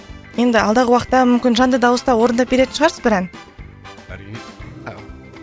енді алдағы уақытта мүмкін жанды дауыста орындап беретін шығарсыз бір ән